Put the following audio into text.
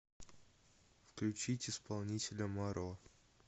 включить исполнителя маро